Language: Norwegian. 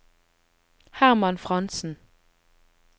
Hermann Frantzen